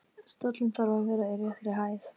Stóllinn þarf að vera í réttri hæð.